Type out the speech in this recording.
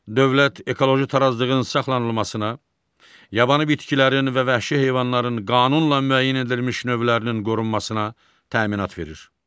Dövlət ekoloji tarazlığın saxlanılmasına, yabanı bitkilərin və vəhşi heyvanların qanunla müəyyən edilmiş növlərinin qorunmasına təminat verir.